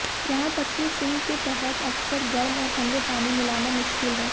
यहां तक कि सिंक के तहत अक्सर गर्म और ठंडे पानी मिलाना मुश्किल है